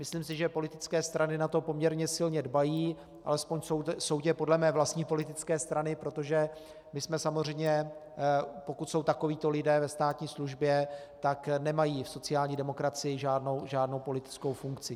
Myslím si, že politické strany na to poměrně silně dbají, alespoň soudě podle mé vlastní politické strany, protože my jsme samozřejmě, pokud jsou takovíto lidí ve státní službě, tak nemají v sociální demokracii žádnou politickou funkci.